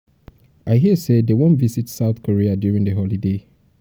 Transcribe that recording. i hear say dey wan visit south korea during the holiday